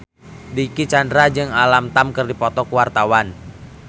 Dicky Chandra jeung Alam Tam keur dipoto ku wartawan